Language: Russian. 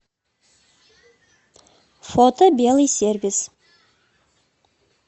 фото белый сервис